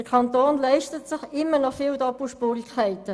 Der Kanton leistet sich nach wie vor viele Doppelspurigkeiten.